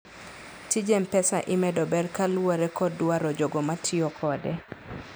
tij mpesa imedo ber kaluore kod dwaro jogo ma tiyo kode